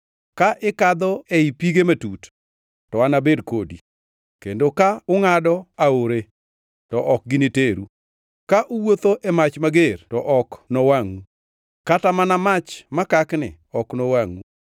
Ka ikadho ei pige matut, to anabed kodi; kendo ka ungʼado aore to ok giniteru. Ka uwuotho e mach mager to ok nowangʼu, kata mana mach makakni ok nowangʼu.